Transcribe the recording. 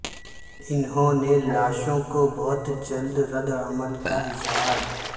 انہوں نے لاشوں کو بہت جلد رد عمل کا اظہار